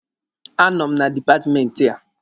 A nọ m na dipatmenti a.